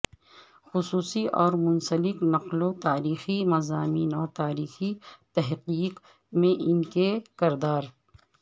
خصوصی اور منسلک نقلو تاریخی مضامین اور تاریخی تحقیق میں ان کے کردار